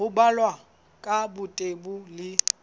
ho balwa ka botebo le